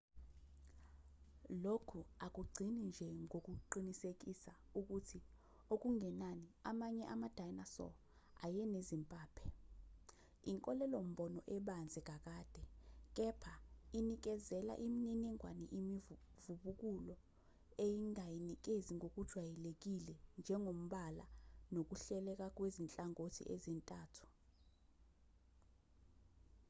lokhu akugcini nje ngokuqinisekisa ukuthi okungenani amanye ama-dinosaur ayenezimpaphe inkolelo-mbono ebanzi kakade kepha inikezela imininingwane imivubukulo engayinikezi ngokujwayelekile njengombala nokuhleleka kwezinhlangothi ezintathu